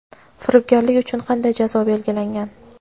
Firibgarlik uchun qanday jazo belgilangan?.